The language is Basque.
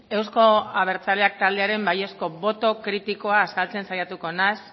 euzko abertzaleak taldearen baiezko boto kritikoa azaltzen saiatuko naiz